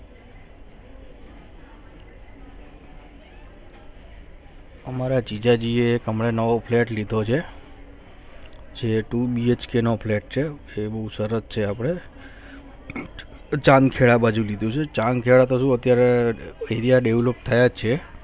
હમારે જીજાજી હમને નવો flat લીધો છે અને 2BHK ને flat છે એનું સરસ છે હમને જામજહેદ માં લેવું છે જામખેડા અત્યારે ફરિયા develop થયા છે